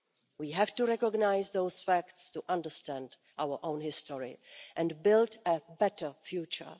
We have to recognise those facts to understand our own history and build a better future.